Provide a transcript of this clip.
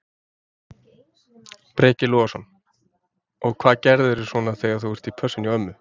Breki Logason: Og hvað gerirðu svona þegar þú ert í pössun hjá ömmu?